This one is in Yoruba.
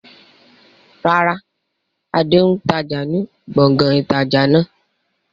Rárá, Adé n tája ni gbọ̀ngàn ìtajà náà